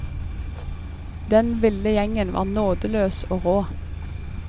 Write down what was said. Den ville gjengen var nådeløs og rå.